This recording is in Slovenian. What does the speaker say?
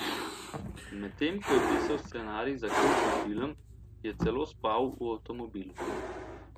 Medtem ko je pisal scenarij za kultni film, je celo spal v avtomobilu.